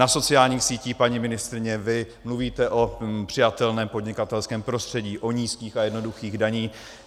Na sociální síti, paní ministryně, vy mluvíte o přijatelném podnikatelském prostředí, o nízkých a jednoduchých daních.